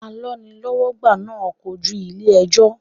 Alọ́nilọ́wọ́gbà náà kojú ilé ẹjọ́.